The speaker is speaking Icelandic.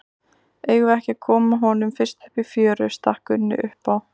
Eigum við ekki að koma honum fyrst upp í fjöru, stakk Gunni upp á.